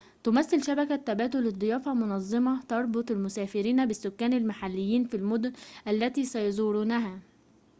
تمثل شبكة تبادل الضيافة منظمة تربط المسافرين بالسكان المحليين في المدن التي سيزورونها